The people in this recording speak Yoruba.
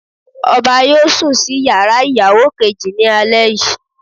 Ọba yóò sùn sí yàrá ìyàwó kejì ní alẹ́ yìí.